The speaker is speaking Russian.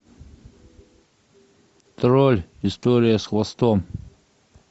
тролль история с хвостом